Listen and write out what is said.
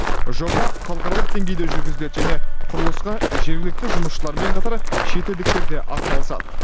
жоба халықаралық деңгейде жүргізіледі және құрылысқа жергілікті жұмысшылармен қатар шетелдіктер де атсалысады